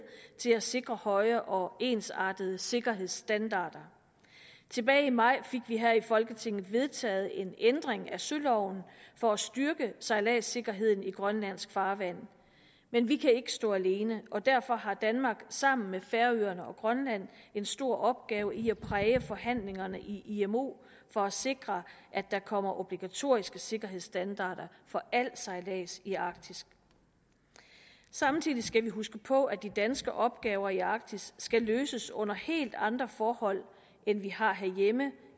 til at sikre høje og ensartede sikkerhedsstandarder tilbage i maj fik vi her i folketinget vedtaget en ændring af søloven for at styrke sejladssikkerheden i grønlandsk farvand men vi kan ikke stå alene og derfor har danmark sammen med færøerne og grønland en stor opgave i at præge forhandlingerne i imo for at sikre at der kommer obligatoriske sikkerhedsstandarder for al sejlads i arktis samtidig skal vi huske på at de danske opgaver i arktis skal løses under helt andre forhold end vi har herhjemme